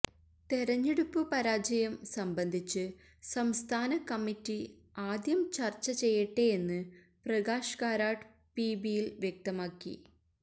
തെരഞ്ഞെടുപ്പ് പരാജയം സംബന്ധിച്ച് സംസ്ഥാന കമ്മിറ്റി ആദ്യം ചര്ച്ച ചെയ്യട്ടെയെന്ന് പ്രകാശ് കാരാട്ട് പിബിയില് വ്യക്തമാക്കി